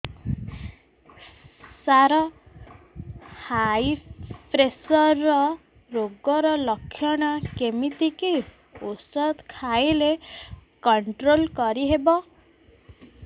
ସାର high pressure ରୋଗର ଲଖଣ କେମିତି କି ଓଷଧ ଖାଇଲେ କଂଟ୍ରୋଲ କରିହେବ